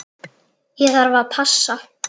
Ég þarf að passa.